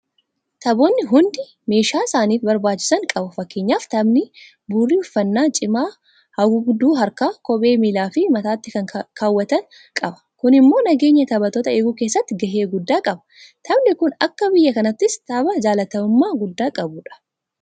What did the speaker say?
Taphoonni hundi meeshaa isaaniif barbaachisan qabu. Fakkeenyaaf Taphni Burii uffannaa cimaa, haguugduu harkaa, kophee miilaafi mataatti kan keewwatan qaba. Kun immoo nageenya taphattootaa eeguu keessatti gahee guddaa qaba. Taphni kun akka biyya kanaattis tapha jaalatamummaa guddaa qabudha.